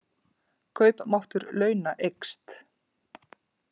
Kaupmáttur launa eykst